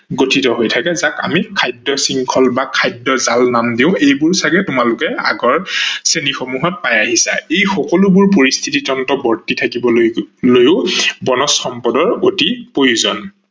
গঠিত হৈ থাকে যাক আমি খাদ্য শৃংখল বা খাদ্য জাল নাম দিও এইবোৰ চাগে তোমালোকে আগৰ শ্ৰেণী সমূহত পাই আহিছা। ই সকলো ধৰনৰ পৰিস্থিতিতন্ত্ৰত বৰ্তি থাকিবলৈও বনজ সম্পদৰ অতি প্ৰয়োজন